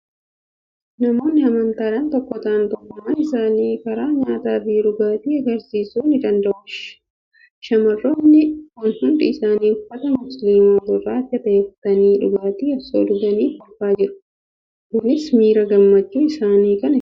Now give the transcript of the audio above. Namoonni amantaadhaan tokko ta'an tokkummaa isaanii karaa nyaataa fi dhugaatii agarsiisuu ni danda'u. Sha, marroonni kun hundi isaanii uffata musliimaa gurraacha ta'e uffatanii, dhugaatii osoo dhuganii kolfaa jiru. Kunis miira gammachuu isaanii kan ibsudha.